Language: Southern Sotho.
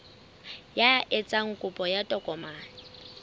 ya etsang kopo ya tokomane